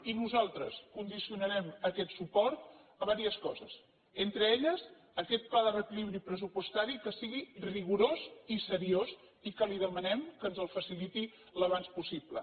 i nosaltres condicionarem aquest suport a diverses coses entre elles a aquest pla de reequilibri pressupostari que sigui rigorós i seriós i que li demanem que ens el faciliti al més aviat possible